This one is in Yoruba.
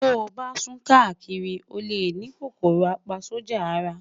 to ban sun kakiri, o le ni KòkòròApaSójà Ara